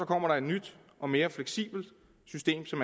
kommer et nyt og mere fleksibelt system som